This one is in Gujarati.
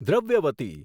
દ્રવ્યવતી